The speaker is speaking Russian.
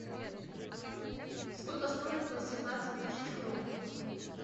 сколько стоит восемнадцать тысяч крон